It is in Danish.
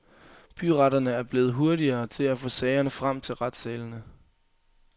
Byretterne er blevet hurtigere til at få sagerne frem til retssalene.